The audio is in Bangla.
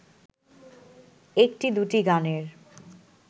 একটি-দুটি গানের